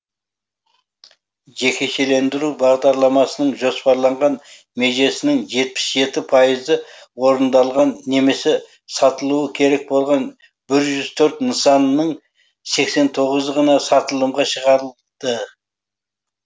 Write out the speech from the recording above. жекешелендіру бағдарламасының жоспарланған межесінің жетпіс жеті пайызы орындалған немесе сатылуы керек болған бір жүз төрт нысанның сексен тоғызы ғана сатылымға шығарылды